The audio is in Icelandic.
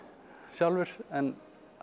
sjálfur en